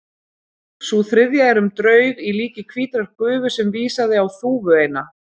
Sú þriðja er um draug í líki hvítrar gufu sem vísaði á þúfu eina.